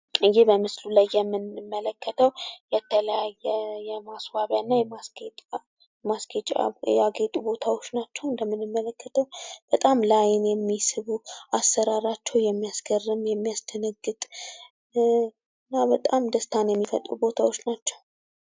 ይህ በምስሉ ላይ የምንመለከተው የተለያዩ የማስዋቢያና የማስጌጫ ያጌጡ ቦታዎች ናቸው ። እና እንደምንመለከተው በጣም ለአይን የሚስቡ አሰራራቸው የሚያስገርምና የሚያስደነግጡ ቦታዎች ናቸው።